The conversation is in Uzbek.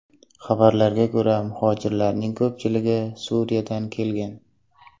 Xabarlarga ko‘ra, muhojirlarning ko‘pchiligi Suriyadan kelgan.